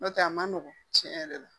N'o tɛ a ma nɔgɔn tiɲɛ yɛrɛ la